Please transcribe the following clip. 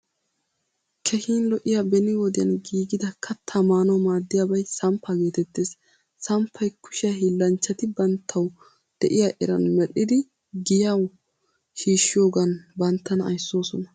Keehin lo'iyaa beni wodiyan giigida kattaa maanawu maadiyaabay samppa geetettees. Samppay kushshiyaa hiilanchchati banttawu de'iya eran medhdhidi giyawu shiishiyogan banttana aysoosona.